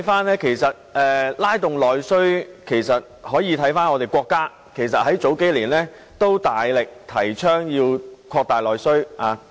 然而，在拉動內需方面，其實我們可以看看我們的國家，國家在數年前也曾大力提倡擴大內需。